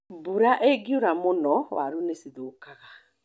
Mbura ĩngiura mũno waru nĩcithũkaga